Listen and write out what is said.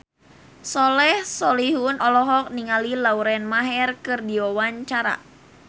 Soleh Solihun olohok ningali Lauren Maher keur diwawancara